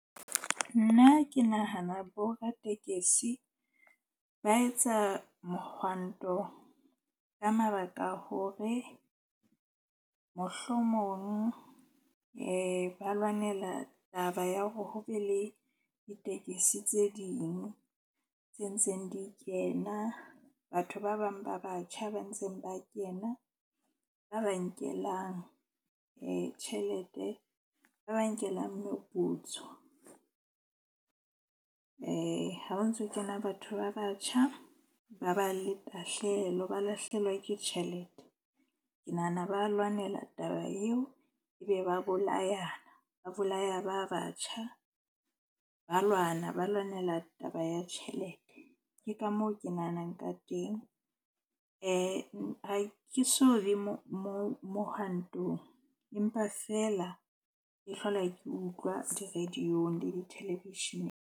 Nna ke nahana boratekesi ba etsa mohwanto ka mabaka a hore mohlomong ba lwanela taba ya hore ho be le ditekesi tse ding tse ntseng di kena. Batho ba bang ba batjha ba ntseng ba kena ba ba nkelang tjhelete, ba ba nkelang moputso. Ha ba ntso kena batho ba batjha ba ba le tahlehelo, ba lahlehelwa ke tjhelete. Ke nahana, ba lwanela taba eo ebe ba bolayana. Ba bolaya ba batjha, ba lwana ba lwanela taba ya tjhelete. Ke ka moo ke nahanang ka teng. Ha ke so be mo mohwantong. Empa feela ke hlola ke utlwa di-radio-ng le di-television-eng.